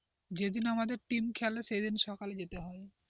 যেদিন আমাদের টিম খেলে সেদিন সকালে যেতে হয়,